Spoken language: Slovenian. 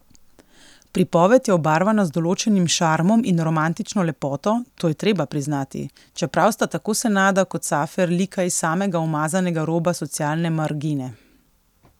Pripoved je obarvana z določenim šarmom in romantično lepoto, to je treba priznati, čeprav sta tako Senada kot Safer lika iz samega umazanega roba socialne margine.